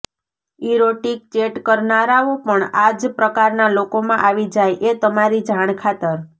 erotic chat કરનારાઓ પણ આ જ પ્રકારના લોકોમાં આવી જાય એ તમારી જાણ ખાતર